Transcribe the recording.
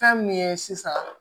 Fɛn min ye sisan